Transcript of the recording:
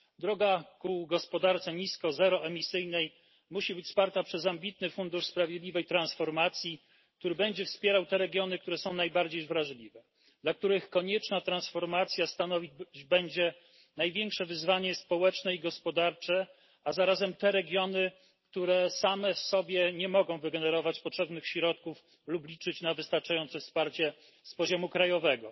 W drodze ku gospodarce nisko i zeroemisyjnej musi towarzyszyć nam ambitny Fundusz na rzecz Sprawiedliwej Transformacji wspierający regiony najbardziej wrażliwe, dla których konieczna transformacja stanowić będzie największe wyzwanie społeczne i gospodarcze, a zarazem te regiony, które same w sobie nie mogą wygenerować potrzebnych środków lub liczyć na wystarczające wsparcie z poziomu krajowego.